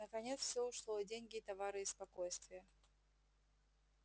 наконец всё ушло и деньги и товары и спокойствие